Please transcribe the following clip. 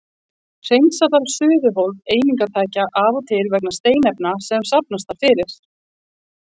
Hreinsa þarf suðuhólf eimingartækja af og til vegna steinefna sem safnast þar fyrir.